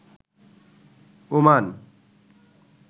Oman